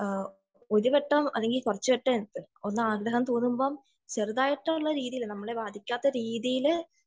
ഒരു ഘട്ടം അല്ലെങ്കിൽ കുറച്ചു ഘട്ടം ഒന്ന് ആഗ്രഹം തോന്നുമ്പോൾ നമ്മളെ ബാധിക്കാത്ത രീതിയിൽ